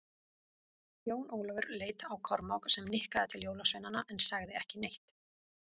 Jón Ólafur leit á Kormák, sem nikkaði til jólasveinana en sagði ekki neitt.